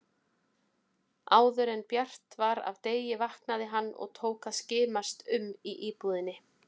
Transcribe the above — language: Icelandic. Áðuren bjart var af degi vaknaði hann og tók að skimast um í íbúðinni.